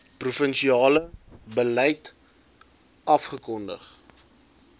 provinsiale beleid afgekondig